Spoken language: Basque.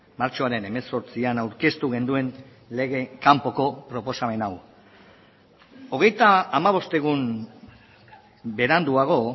martxoaren hemezortzian aurkeztu genuen lege kanpoko proposamen hau hogeita hamabost egun beranduago